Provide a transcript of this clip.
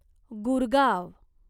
Gurgaon